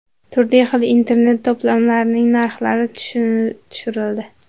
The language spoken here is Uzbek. Turli xil Internet-to‘plamlarining narxlari tushirildi.